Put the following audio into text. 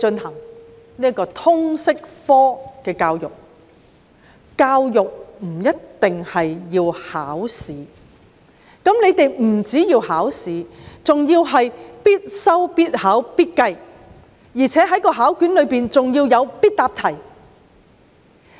可是，政府當局不單要求考試，還要求必修、必考、必計，而且試卷更設有必答題。